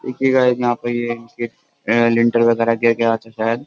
देखिए गाइस यहाँ पर ये इनके लिंटर वगैरह गिर गया था शायद।